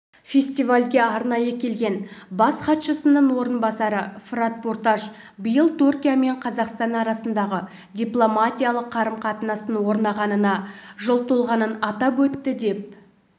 фестивальге арнайы келген бас хатшысының орынбасары фырат пурташ биыл түркия мен қазақстан арасындағы дипломатиялық қарым-қатынастың орнағанына жыл толғанын атап өтті деп